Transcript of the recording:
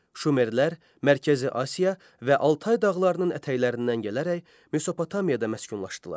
Şumerlər Mərkəzi Asiya və Altay dağlarının ətəklərindən gələrək Mesopotamiyada məskunlaşdılar.